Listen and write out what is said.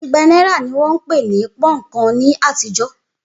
Igba náírà ní wón ń pè ní púnǹkan ní àtijọ́.